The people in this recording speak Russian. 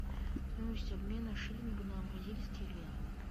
стоимость обмена шиллинга на бразильские реалы